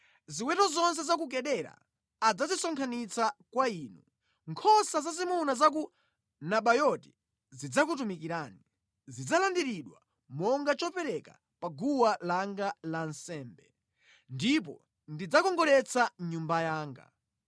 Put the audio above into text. Ziweto zonse za ku Kedara adzazisonkhanitsa kwa inu, nkhosa zazimuna za ku Nabayoti zidzakutumikirani; zidzalandiridwa monga chopereka pa guwa langa la nsembe, ndipo ndidzakongoletsa Nyumba yanga.